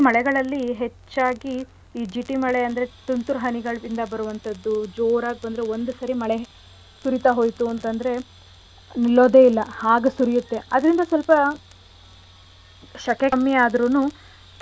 ಹೆಚ್ಚಾಗಿ ಈ ಜಿಟಿ ಮಳೆ ಅಂದ್ರೆ ತುಂತುರು ಹನಿಗಳ್ ಇಂದ ಬರುವಂಥದ್ದು ಜೋರಾಗ್ ಬಂದು ಒಂದು ಸರಿ ಮಳೆ ಸುರಿತಾ ಹೋಯ್ತು ಅಂತ್ ಅಂದ್ರೆ ನಿಲ್ಲೋದೆ ಇಲ್ಲ ಹಾಗ್ ಸುರ್ಯತ್ತೆ ಅದ್ರಿಂದ ಸ್ವಲ್ಪ ಶಕೆ ಕಮ್ಮಿ ಆದ್ರೂನು ಕೆಲವ್ ಮಕ್ಳಿಗೆ.